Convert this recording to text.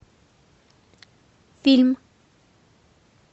фильм